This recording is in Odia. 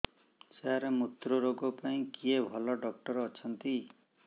ସାର ମୁତ୍ରରୋଗ ପାଇଁ କିଏ ଭଲ ଡକ୍ଟର ଅଛନ୍ତି